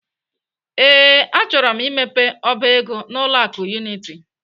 Ee, achọrọ m imepe ọba ego n'ụlọ akụ Unity.